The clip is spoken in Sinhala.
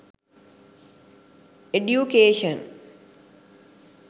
education